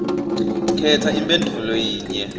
khetsa imphendvulo yinye